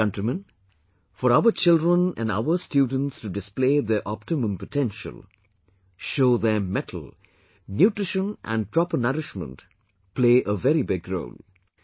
Dear countrymen, for our children and our students to display their optimum potential, show their mettle; Nutrition and proper nourishment as well play a very big role